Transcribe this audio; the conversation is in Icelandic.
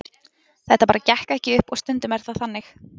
Þetta bara gekk ekki upp og stundum er það þannig.